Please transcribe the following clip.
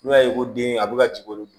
N'u y'a ye ko den a bɛ ka jigin